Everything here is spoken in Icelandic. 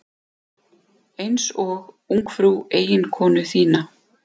Einsog ungfrú eiginkonu þína.